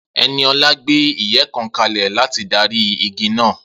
Eniola gbé ìyẹ́ kan kalẹ̀ láti darí igi náà